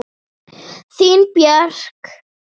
Þín Björk.